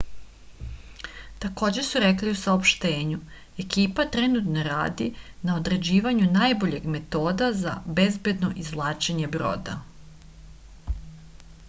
takođe su rekli u saopštenju ekipa trenutno radi na određivanju najboljeg metoda za bezbedno izvlačenje broda